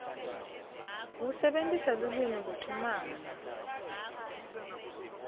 kusebentisa lulwimi kuchumana